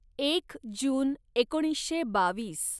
एक जून एकोणीसशे बावीस